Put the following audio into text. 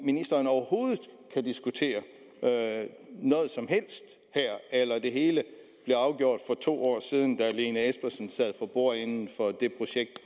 ministeren overhovedet diskutere noget som helst her eller blev det hele afgjort for to år siden da fru lene espersen sad for bordenden for det projekt